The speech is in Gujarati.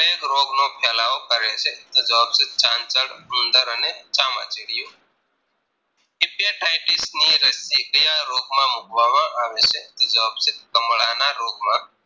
plague રોગનો ફેલાવો કરે છે તો જવાબ છે ચાંચડ ઉંદર અને ચામાં ચીડ્યું ની રશી ક્યાં રોગમાં મુકવામાં આવે છે તો જવાબ છે કમળાના રોગ માં